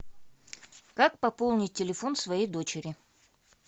как пополнить телефон своей дочери